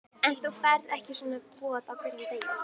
En þú færð ekki svona boð á hverjum degi.